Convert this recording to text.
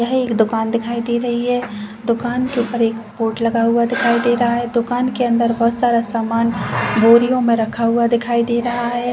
यह एक दुकान दिखाई दे रही है। दुकान के ऊपर एक बोर्ड लगा हुआ दिखाई दे रहा है। दुकान के अंदर बहुत सारा सामान बोरियों में रखा हुआ दिखाई दे रहा है।